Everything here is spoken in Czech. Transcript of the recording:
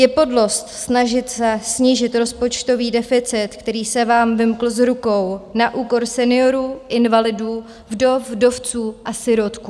Je podlost snažit se snížit rozpočtový deficit, který se vám vymkl z rukou, na úkor seniorů, invalidů, vdov, vdovců a sirotků.